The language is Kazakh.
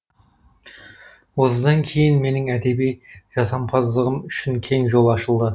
осыдан кейін менің әдеби жасампаздығым үшін кең жол ашылды